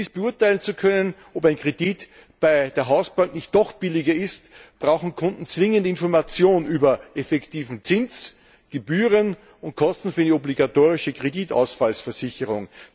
Um beurteilen zu können, ob ein Kredit bei der Hausbank nicht doch billiger ist, brauchen Kunden zwingend Information über effektiven Zins, Gebühren und Kosten für die obligatorische Kreditausfallversicherung.